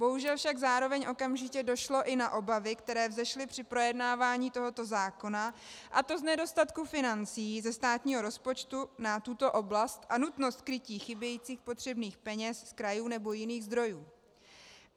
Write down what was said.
Bohužel však zároveň okamžitě došlo i na obavy, které vzešly při projednávání tohoto zákona, a to z nedostatku financí ze státního rozpočtu na tuto oblast a nutnost krytí chybějících potřebných peněz z krajů nebo jiných zdrojů.